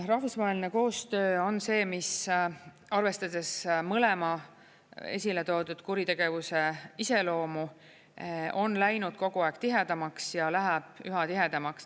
Rahvusvaheline koostöö on see, mis arvestades mõlema esile toodud kuritegevuse iseloomu, on läinud kogu aeg tihedamaks ja läheb üha tihedamaks.